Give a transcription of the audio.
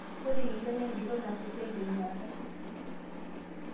ore yieyio naa enkitok naas esiai tenyuata